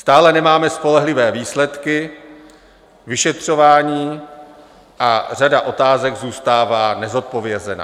Stále nemáme spolehlivé výsledky vyšetřování a řada otázek zůstává nezodpovězená.